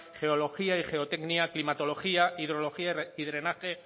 geología y geotecnia climatología hidrología y drenaje